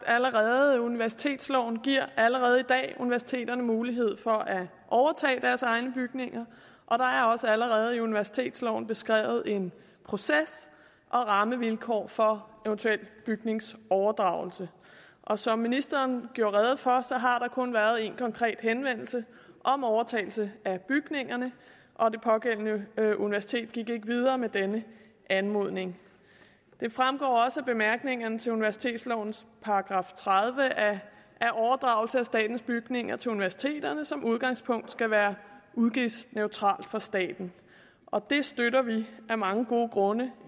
allerede universitetsloven giver allerede i dag universiteterne mulighed for at overtage deres egne bygninger og der er også allerede i universitetsloven beskrevet en proces og rammevilkår for eventuel bygningsoverdragelse og som ministeren gjorde rede for har der kun været én konkret henvendelse om overtagelse af bygningerne og det pågældende universitet gik ikke videre med denne anmodning det fremgår også af bemærkningerne til universitetslovens § tredive at overdragelse af statens bygninger til universiteterne som udgangspunkt skal være udgiftsneutral for staten og det støtter vi af mange gode grunde